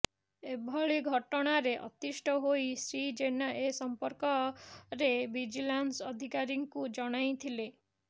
ଏଭଳି ଘଟଣାରେ ଅତିଷ୍ଠ ହୋଇ ଶ୍ରୀ ଜେନା ଏ ସଂପର୍କରେ ଭିଜିଲାନ୍ସ ଅଧିକାରୀଙ୍କୁ ଜଣାଇଥିଲେ